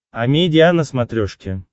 амедиа на смотрешке